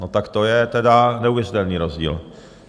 No tak to je teda neuvěřitelný rozdíl.